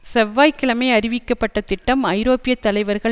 செவ்வாய் கிழமை அறிவிக்கப்பட்ட திட்டம் ஐரோப்பிய தலைவர்கள்